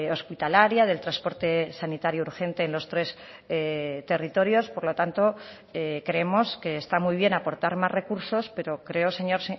hospitalaria del transporte sanitario urgente en los tres territorios por lo tanto creemos que esta muy bien aportar más recursos pero creo señor